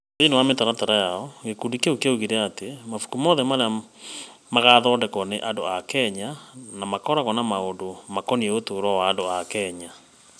Thĩinĩ wa mĩtaratara yao, gĩkundi kĩu nĩ kĩoigire atĩ mabuku mothe marĩa magathondekwo nĩ andũ a Kenya na makoragwo na maũndũ makoniĩ ũtũũro wa andũ a Kenya.